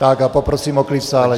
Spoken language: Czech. Tak a poprosím o klid v sále.